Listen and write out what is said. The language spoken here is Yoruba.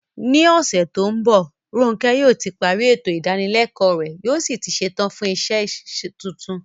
Ní ọ̀sẹ̀ tó ń bọ̀, Ronke yóò ti parí ètò ìdánilẹ́kọ̀ọ́ rẹ̀ yóò sì ti ṣetán fún iṣẹ́ tuntun.